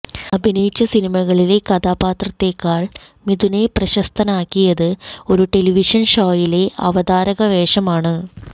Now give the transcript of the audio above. അഭിനയിച്ച സിനിമകളിലെ കഥാപാത്രത്തെക്കാൾ മിഥുനെ പ്രശസ്തനാക്കിയത് ഒരു ടെലിവിഷൻ ഷോയിലെ അവതാരക വേഷമാണ്